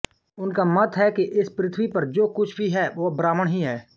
उनका मत है कि इस पृथ्वी पर जो कुछ भी है वह ब्राह्मण ही है